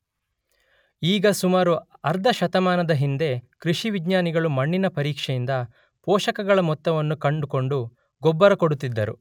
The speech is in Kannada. ಈಗ ಸುಮಾರು ಅರ್ಧ ಶತಮಾನದ ಹಿಂದೆ ಕೃಷಿವಿಜ್ಞಾನಿಗಳು ಮಣ್ಣಿನ ಪರೀಕ್ಷೆಯಿಂದ ಪೋಷಕಗಳ ಮೊತ್ತವನ್ನು ಕಂಡುಕೊಂಡು ಗೊಬ್ಬರ ಕೊಡುತ್ತಿದ್ದರು